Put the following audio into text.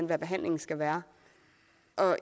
hvad behandlingen skal være